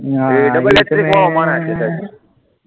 એ double hat trick વાળો માણસ છે સાહેબ,